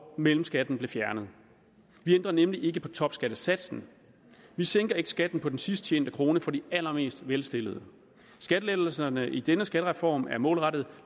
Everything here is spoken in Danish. mellemskatten blev fjernet vi ændrer nemlig ikke på topskattesatsen vi sænker ikke skatten på den sidst tjente krone for de allermest velstillede skattelettelserne i denne skattereform er målrettet